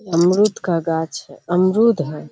अमरुद का गाछ है अमरुद है।